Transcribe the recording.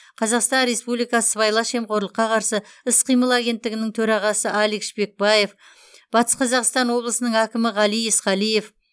қазақстан республикасы сыбайлас жемқорлыққа қарсы іс қимыл агенттігінің төрағасы алик шпекбаев батыс қазақстан облысының әкімі ғали есқалиев